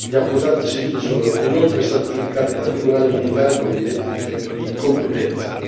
Gli accusati civili sono inoltre stati giudicati da tribunali militari con evidente difetto di competenza.